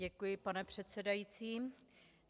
Děkuji, pane předsedající.